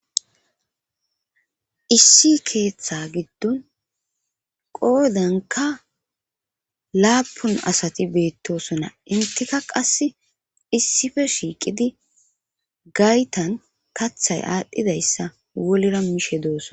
Issi keeththa giddon qoodanka laapun asati beettosona intika qasse issife shiiqidi gaytan kathay aadhdhidayssa wolira mishe dooson